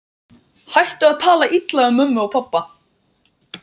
Hættu að tala illa um mömmu og pabba!